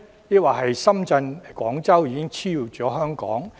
抑或深圳或廣州已經超越香港？